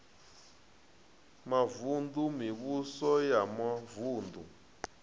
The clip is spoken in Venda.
mavun ḓu mivhuso ya mavuṋdu